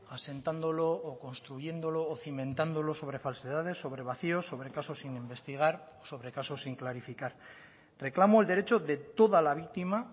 asentándolo o construyéndolo o cimentándolo sobre falsedades sobre vacíos sobre casos sin investigar sobre casos sin clarificar reclamo el derecho de toda la víctima